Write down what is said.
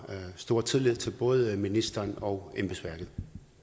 stor tillid til både ministeren og embedsværket